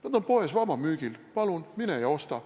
Need on poes vabamüügil, palun, mine ja osta.